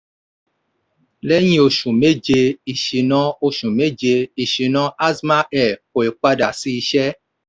lẹ́yìn oṣù méje ìṣínà oṣù méje ìṣínà azman air kò ì padà sí iṣẹ́.